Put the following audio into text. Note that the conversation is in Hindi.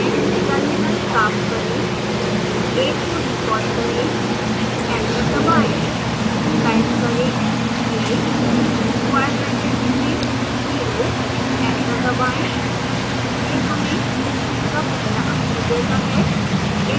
terminal साफ करें